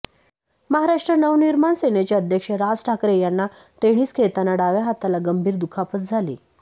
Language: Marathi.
महाराष्ट्र नवनिर्माण सेनेचे अध्यक्ष राज ठाकरे यांना टेनिस खेळताना डाव्या हाताला गंभीर दुखापत झाली